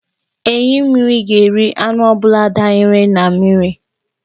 Enyí mmiri ga-eri anụ ọ bụla danyere n'mmiri.